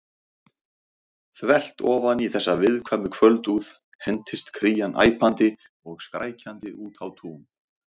Þvert ofan í þessa viðkvæmu kvöldúð hentist Krían æpandi og skrækjandi út á tún.